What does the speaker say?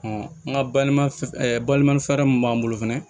n ka balima balima fɛɛrɛ min b'an bolo fɛnɛ